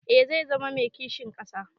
Eh zai zama mai kishin ƙasa.